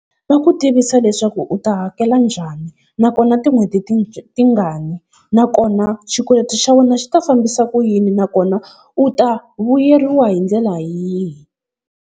Va ku tivisa leswaku u ta hakela njhani, nakona tin'hweti tingani, nakona xikweleti xa wena xi ta fambisa ku yini nakona u ta vuyeriwa hi ndlela yihi.